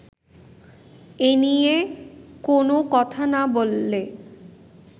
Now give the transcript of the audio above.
এনিয়ে কোনো কথা না বললে